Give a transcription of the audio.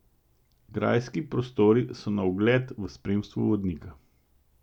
Grajski prostori so na ogled v spremstvu vodnika.